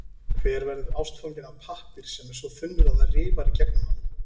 Hver verður ástfanginn af pappír sem er svo þunnur, að það rifar í gegnum hann?